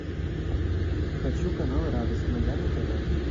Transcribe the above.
хочу канал радость моя на тв